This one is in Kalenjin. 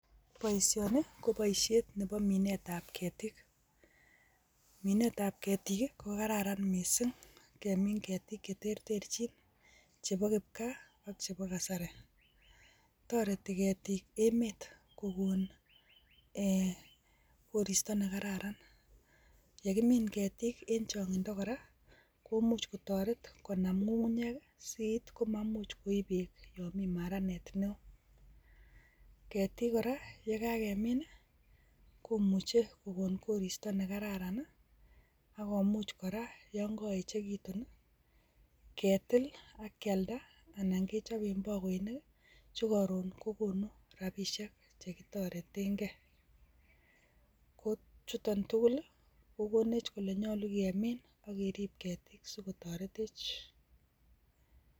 Boishonii ko boishet nebo minet ab ketik, minet ab ketik ko kararan missing kemin ketik cheterterjin chebo kipkaa ak chebo kasari, toreti ketik emet kokon ee koristo nekararan yekimin ketik en chongindo koraa komuch kotoret konam ngungunyek siit komamuch koib beek yon mii maranet neo. Ketik koraa yon kakemin komuche kokon koristo nekararan nii ak komuch koraa yon kokoyechekitun nii ketil ak kyalda anan kechoben bokoinik chekorun kokonu rabishek chekitoreten gee, ko chutok tuku kokonech kole nyolu kemin ak kerib ketik sikotoretech.